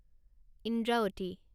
Indravati